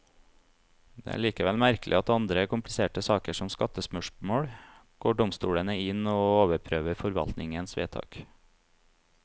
Det er likevel merkelig at i andre kompliserte saker, som skattespørsmål, går domstolene inn og overprøver forvaltningens vedtak.